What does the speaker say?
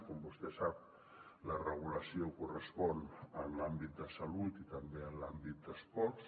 com vostè sap la regulació correspon a l’àmbit de salut i també a l’àmbit d’esports